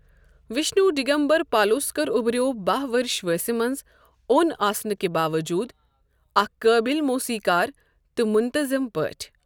وشنو ڈگمبر پالوسکر اُبریٚو بہہ ؤرش وانٛسہِ منٛز اوٚن آسنہٕ کہِ باووٚجوٗد اکھ قٲبِل موسیقار تہٕ منتظم پٲٹھۍ۔